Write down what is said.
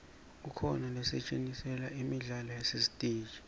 kukhona losetjentiselwa imidlalo yasesiteji